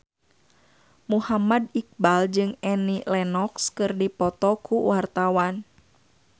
Muhammad Iqbal jeung Annie Lenox keur dipoto ku wartawan